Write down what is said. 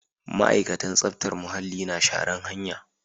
Ma'aikatan tsaftar muhalli na shara'n hanya.